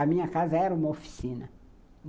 A minha casa era uma oficina.